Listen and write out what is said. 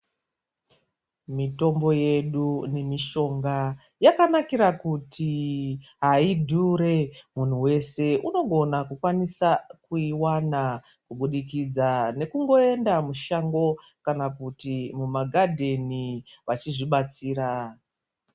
Mitombo yedu nemishonga yakanakira kuti haidhure, Munhu wese unogona kukwanisa kuiwana kubudikidza nekungoenda mushango kana kuti mumagadheni vachizvibatsira.